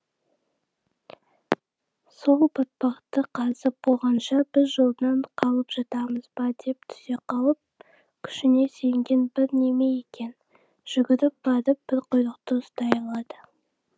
сол батпақты қазып болғанша біз жолдан қалып жатамыз ба деп түсе қалып күшіне сенген бір неме екен жүгіріп барып бір құйрықты ұстай алады